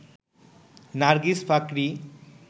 Nargis Fakhri